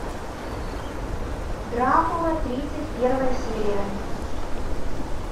дракула тридцать первая серия